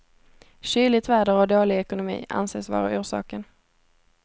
Kyligt väder och dålig ekonomi anses vara orsaken.